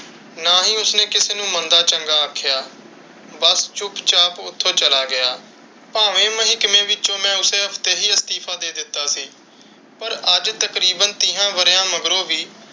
ਨਾ ਹੀ ਉਸ ਨੇ ਕਿਸੀ ਨੂੰ ਮੰਦਾ ਚੰਗਾ ਆਖਿਆ। ਬਸ ਚੁੱਪ ਚਾਪ ਓਥੋਂ ਚਲਾ ਗਿਆ। ਭਾਵੇਂ ਮਹਿਕਮੇ ਵਿੱਚੋ ਮੇਂ ਉਸੀ ਹਫ਼ਤੇ ਹੀ ਇਸਤੀਫ਼ਾ ਦੇ ਦਿੱਤਾ ਸੀ, ਪਰ ਅੱਜ ਤੀਹਾਂ ਵਰਿਆਂ ਮਗਰੋਂ ਵੀ,